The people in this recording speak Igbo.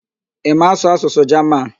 Ị ma asụ asụsụ Jaman?